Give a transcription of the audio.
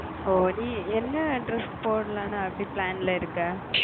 ஓஹ் நீ என்ன dress போடலாம் அப்பிடின்னு plan ல இருக்க